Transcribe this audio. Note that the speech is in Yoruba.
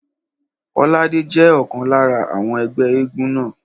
Kọ́ládé jẹ́ ọ̀kan lára àwọn ẹgbẹ́ éégún náà